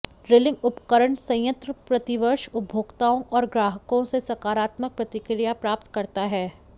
drilling उपकरण संयंत्र प्रतिवर्ष उपभोक्ताओं और ग्राहकों से सकारात्मक प्रतिक्रिया प्राप्त करता है